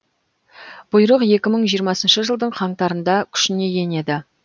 бұйрық екі мың жиырмасыншы жылдың қаңтарында күшіне енеді